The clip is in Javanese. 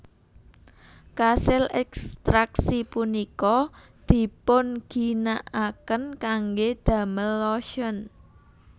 Kasil ekstraksi punika dipunginakaken kangge damel lotion